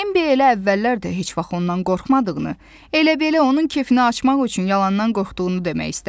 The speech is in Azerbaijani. Bambi elə əvvəllər də heç vaxt ondan qorxmadığını, elə belə onun kefini açmaq üçün yalandan qorxduğunu demək istədi.